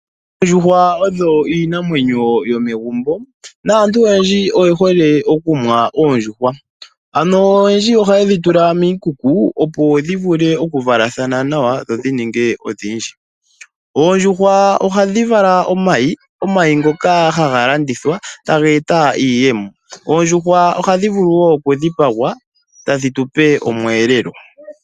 Oondjuhwa odho iinamwenyo yomegumbo naantu oyendji oye hole okumuna oondjuhwa. Ano oyendji ohaye dhi tula miikuku, opo dhi vule okuvalathana nawa dho dhi ninge odhindji. Oondjuhwa ohadhi vala omayi, omayi ngoka haga landithwa, taga eta iiyemo. Oondjuhwa ohadhi vulu wo okudhipagwa, tadhi tu pe omweelelo.